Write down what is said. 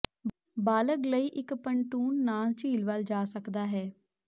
ਬਾਲਗ ਲਈ ਇੱਕ ਪਨਟੂਨ ਨਾਲ ਝੀਲ ਵੱਲ ਜਾ ਸਕਦਾ ਹੈ